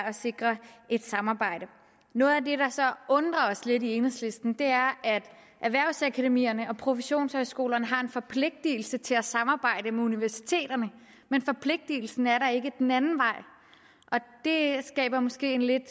at sikre et samarbejde noget af det der så undrer os lidt i enhedslisten er at erhvervsakademierne og professionshøjskolerne har en forpligtelse til at samarbejde med universiteterne men forpligtelsen er der ikke den anden vej og det skaber måske et lidt